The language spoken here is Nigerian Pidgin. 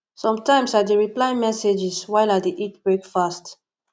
sometimes i dey reply messages while i dey eat breakfast